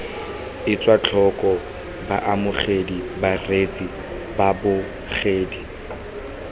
etswe tlhoko baamogedi bareetsi babogedi